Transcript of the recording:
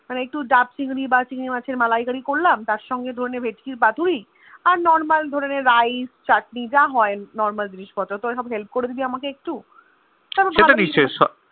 মানে একটু দাব চিংড়ি বা একটু চিংড়ি মাছ এর মালাই করি করলাম তার সংঘে ধরেন ভেটকীর পাতুরি আর Normal ধরেন Rice চাটনি যা হয়ে নরমাল জিনিস পত্র তোর হেল করবি আমাকে একটু মানে ভালোই